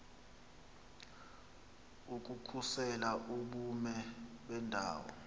ukukhusela ubume bendawo